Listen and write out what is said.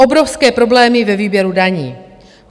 Obrovské problémy ve výběru daní.